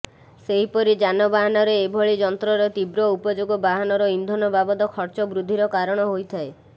ସେହିପରି ଯାନବାହନରେ ଏଭଳି ଯନ୍ତ୍ରର ତୀବ୍ର ଉପଯୋଗ ବାହନର ଇନ୍ଧନ ବାବଦ ଖର୍ଚ୍ଚବୃଦ୍ଧିର କାରଣ ହୋଇଥାଏ